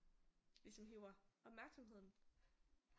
Ligesom hiver opmærksomheden